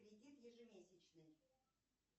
кредит ежемесячный